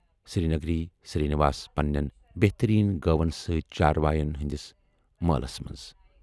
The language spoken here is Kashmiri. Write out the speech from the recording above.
سِرٛنٛگیری سِرٛی نِواس پنٛنٮ۪ن بہتٔریٖن گٲون سۭتۍ چارواٮ۪ن ہِنٛدِس مٲلَس منٛز۔